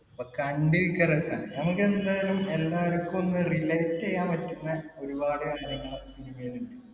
അപ്പൊ കണ്ടിരിക്കാൻ രസാണ്. നമ്മക്ക് എന്തായാലും എല്ലാർക്കുമൊന്ന് relate റ്റീയാൻ പറ്റുന്ന ഒരുപാട് കാര്യങ്ങൾ cinema യിൽ ഉണ്ട്.